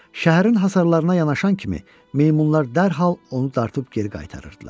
Şəhərin hasarlarına yanaşan kimi meymunlar dərhal onu dartıb geri qaytarırdılar.